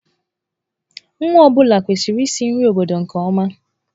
Nwa ọ bụla kwesịrị isi nri obodo nke ọma.